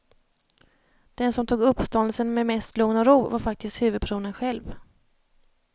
Den som tog uppståndelsen med mest lugn och ro, var faktiskt huvudpersonen själv.